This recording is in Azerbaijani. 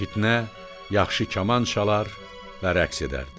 Fitnə yaxşı kaman çalar və rəqs edərdi.